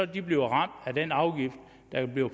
de bliver ramt af den afgift